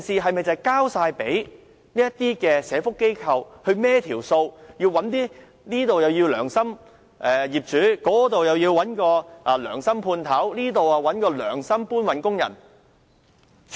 難道要社福機構"跑數"，這裏找些良心業主，那裏找些良心判頭，這裏再找良心搬運工人？